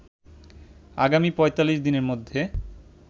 আগামী৪৫ দিনের মধ্যে